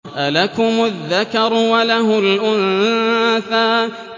أَلَكُمُ الذَّكَرُ وَلَهُ الْأُنثَىٰ